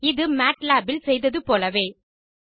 இது மத்லாப் இல் செய்தது போலவேதான்